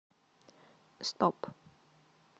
стоп